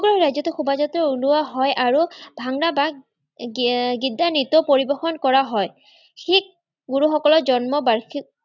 সমগ্ৰ ৰাজ্যতে শোভাযাত্ৰা ওলোৱা হয় আৰু ভাংৰা বা গিদ্দা নৃত্য পৰিবেশণ কৰা হয়। শিখ গুৰুসকলৰ জন্ম-বাৰ্ষিক